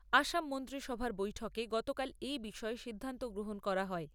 আসাম মন্ত্রীসভার বৈঠকে গতকাল এই বিষয়ে সিদ্ধান্ত গ্রহণ করা হয়।